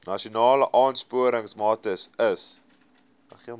nasionale aansporingsmaatre ls